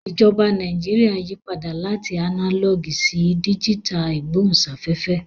Ìjọba Nàìjíríà yí padà láti ánálọ̀gì sí díjítà ìgbóhùnsáfẹ́fẹ́